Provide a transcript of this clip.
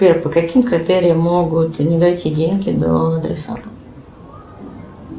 сбер по каким критериям могут не дойти деньги до адресата